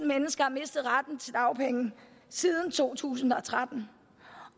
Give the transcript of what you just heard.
mennesker har mistet retten til dagpenge siden to tusind og tretten